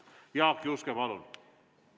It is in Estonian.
Jaak Juske, palun!